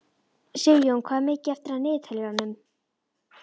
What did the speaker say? Sigjón, hvað er mikið eftir af niðurteljaranum?